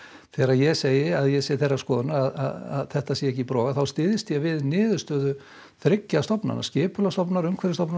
þegar ég segi að ég sé þeirrar skoðunar að þetta sé ekki brot þá styðst ég við niðurstöðu þriggja stofnana skipulagsstofnunar Umhverfisstofnunar